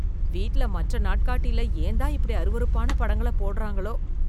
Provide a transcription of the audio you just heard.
வீட்ல மற்ற நாட்காட்டில ஏன்தான் இப்படி அருவருப்பான படங்கள போடுறாங்களோ?